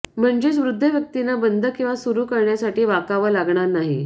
म्हणजेच वृद्ध व्यक्तींना बंद किंवा सुरू करण्यासाठी वाकावं लागणार नाही